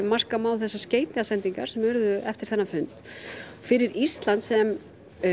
marka má þessar skeytasendingar sem urðu eftir fund fyrir Ísland sem